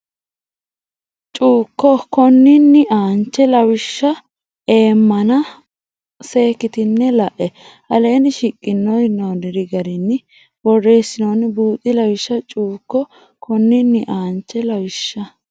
Cuukko konninni aanche lawishsha eemmana ona seekkitine la e aleenni shiqinore yinoonni garinni borreessansa buuxi Lawishsha Cuukko konninni aanche lawishsha.